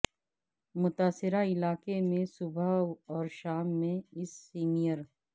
متاثرہ علاقے میں صبح اور شام میں اس سمیر